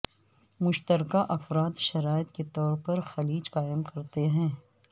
مشترکہ افراد شرائط کے طور پر خلیج قائم کرتے ہیں